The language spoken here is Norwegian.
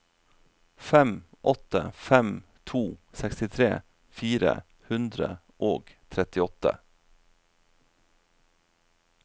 fem åtte fem to sekstitre fire hundre og trettiåtte